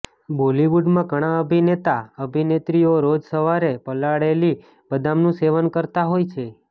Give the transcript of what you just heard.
બોલિવુડમાં ઘણા અભિનેતા અભિનેત્રીઓ રોજ સવારે પલાળેલી બદામનું સેવન કરતા હોય છે